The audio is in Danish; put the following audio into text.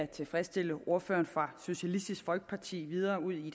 tilfredsstille ordføreren fra socialistisk folkeparti videre ud i